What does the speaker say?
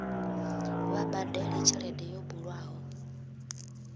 vha badele tshelede yo bulwaho